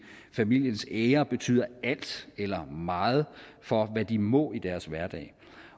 familiens ære betyder alt eller meget for hvad de må i deres hverdag